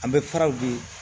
An bɛ faraw de